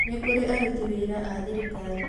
Ni kũrĩ aruti wĩra a thirikari